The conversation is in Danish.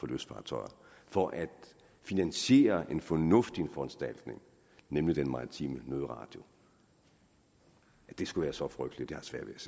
lystfartøjer for at finansiere en fornuftig foranstaltning nemlig den maritime nødradio at det skulle være så frygteligt har